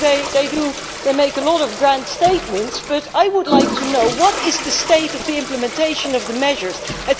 They make a lot of grand statements but I would like to know what the state of implementation of the measures is.